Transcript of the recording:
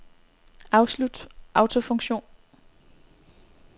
Afslut autofunktion.